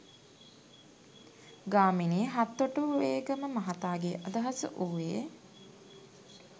ගාමිණී හත්තොටුවේගම මහතාගේ අදහස වූවේ